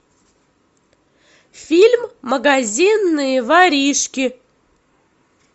фильм магазинные воришки